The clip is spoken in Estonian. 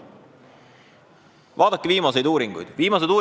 Vaadake viimaseid uuringuid!